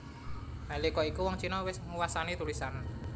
Nalika iku wong Cina wis nguwasani tulisan